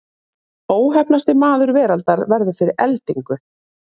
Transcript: Óheppnasti maður veraldar verður fyrir eldingu